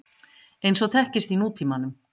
eins og þekkist í nútímanum.